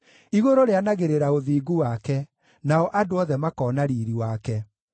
Igũrũ rĩanagĩrĩra ũthingu wake, nao andũ othe makoona riiri wake.